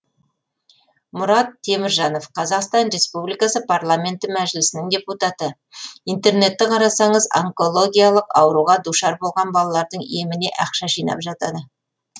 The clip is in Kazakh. мұрат теміржанов қр парламенті мәжілісінің депутаты интернетті қарасаңыз онкологиялық ауруға душар болған балалардың еміне ақша жинап жатады